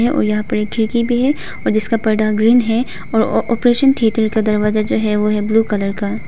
और यहां पर एक खिड़की भी है और जिसका पर्दा ग्रीन हैं और ऑपरेशन थिएटर का दरवाजा जो है वह है ब्लू कलर का।